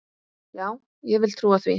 Já, ég vil trúa því.